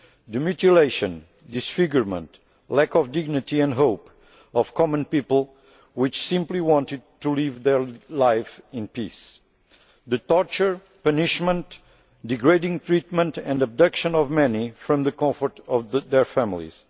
the mutilation, disfigurement, lack of dignity and hope of common people who simply wanted to live their lives in peace the torture, punishment, degrading treatment and abduction of many from the comfort of their families